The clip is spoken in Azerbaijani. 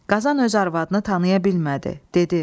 Qazan öz arvadını tanıya bilmədi, dedi: